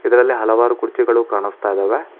ಇದರಲ್ಲಿ ಹಲವಾರು ಕುರ್ಚಿಗಳು ಕಾಣಸ್ತಾ ಇದಾವೆ.